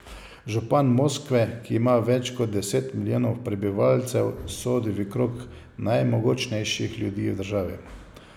Župan Moskve, ki ima več kot deset milijonov prebivalcev, sodi v krog najmogočnejših ljudi v državi.